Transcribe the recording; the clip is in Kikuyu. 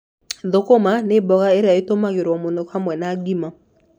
Sukuma wiki nĩ mboga ĩrĩa ĩtũmagĩrũo mũno hamwe na ugali.